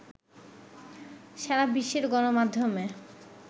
সারা বিশ্বের গণমাধ্যমে